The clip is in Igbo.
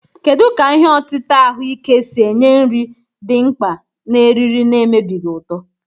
Kedu ka ihe otita ahuike si enye nri dị mkpa na eriri na-emebighị uto?